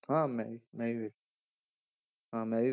ਹਾਂ ਮੈਂ ਵੀ ਮੈਂ ਵੀ ਵੇਖ ਹਾਂ ਮੈਂ ਵੀ,